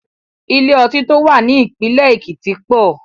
Ilé ọtí tó wà ní ìpínlẹ̀ Èkìtì pọ̀.